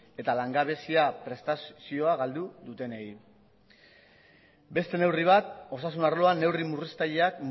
eta langabezia prestazioa galdu dutenei beste neurri bat osasun arloan neurri murriztaileak